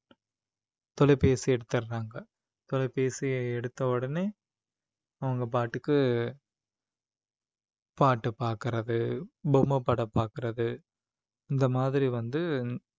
தொலைபேசி எடுத்துறாங்க தொலைபேசியை எடுத்த உடனே அவங்க பாட்டுக்கு பாட்டு பார்க்கிறது பொம்மை படம் பாக்குறது இந்த மாதிரி வந்து